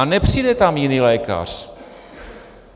A nepřijde tam jiný lékař.